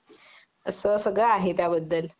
असं सगळं आहे त्याबद्दल